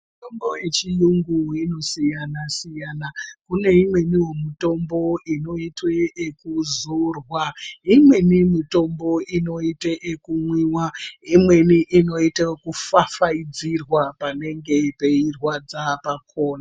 Mitombo yechiyungu inosiyana siyana kune imweniwo mitombo inoite ekuzorwa ,imweni mitombo inoita ekumwiwa imwenini inoitwa ekufafaiza panenge peirwadza pakhona.